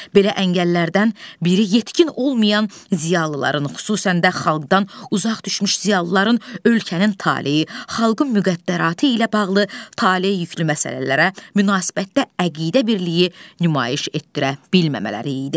Belə əngəllərdən biri yetkin olmayan ziyalıların, xüsusən də xalqdan uzaq düşmüş ziyalıların ölkənin taleyi, xalqın müqəddəratı ilə bağlı tale yüklü məsələlərə münasibətdə əqidə birliyi nümayiş etdirə bilməmələri idi.